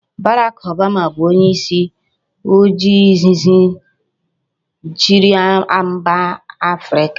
Barack Obama bu onye isi ojii izizi chiri mba America